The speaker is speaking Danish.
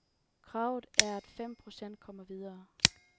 Kravet er at fem procent kommer videre.